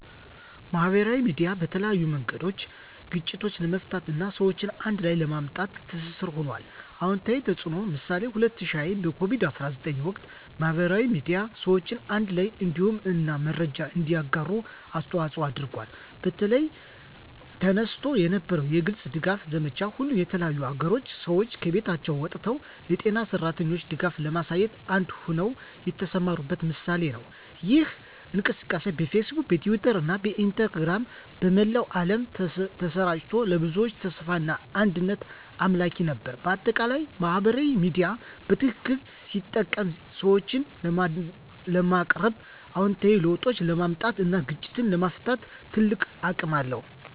ማህበራዊ ሚዲያ በተለያዩ መንገዶች ግጭትን ለመፍታት እና ሰዎችን አንድ ላይ ለማምጣት ትስስር ሆኗል። #*አዎንታዊ ተፅዕኖ (ምሳሌ) በ2020 በኮቪድ-19 ወቅት፣ ማህበራዊ ሚዲያ ሰዎችን አንድ ላይ እንዲሆኑ እና መረጃን እንዲያጋሩ አስተዋፅዖ አድርጓል። በተለይ፣ ተነስቶ የነበረው የግልጽ ድጋፍ ዘመቻ፣ ሁሉም የተለያዩ አገሮች ሰዎች ከቤቶቻቸው ወጥተው ለጤና ሠራተኞች ድጋፍ ለማሳየት አንድ ሆነው የተሰማሩበት ምሳሌ ነው። ይህ እንቅስቃሴ በፌስቡክ፣ በትዊተር እና በኢንስታግራም በመላው ዓለም ተሰራጭቶ፣ ለብዙዎች ተስፋና አንድነት አምላኪ ነበር። በአጠቃላይ፣ ማህበራዊ ሚዲያ በትክክል ሲጠቀም ሰዎችን ለማቀራረብ፣ አዎንታዊ ለውጦችን ለማምጣት እና ግጭቶችን ለመፍታት ትልቅ አቅም አለው።